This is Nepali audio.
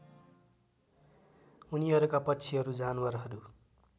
उनीहरूका पक्षिहरू जानवरहरू